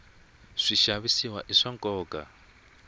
swixavisiwa i swa nkoka